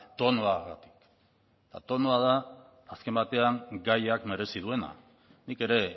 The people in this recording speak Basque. tonua tonua da azken batean gaiak merezi duena nik ere